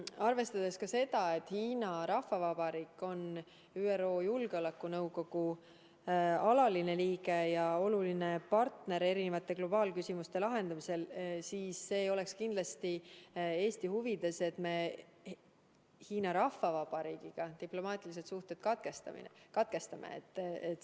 Arvestades ka seda, et Hiina Rahvavabariik on ÜRO Julgeolekunõukogu alaline liige ja oluline partner erinevate globaalsete küsimuste lahendamisel, ei oleks kindlasti Eesti huvides, et me Hiina Rahvavabariigiga diplomaatilised suhted katkestame.